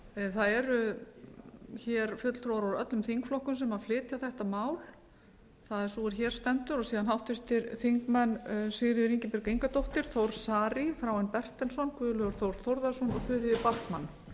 það eru hér fulltrúar úr öllum þingflokkum sem flytja þetta mál það er sú er hér stendur og háttvirtir þingmenn sigríður ingibjörg ingadóttir þór saari þráinn bertelsson guðlaugur þór þórðarson og þuríður backman þannig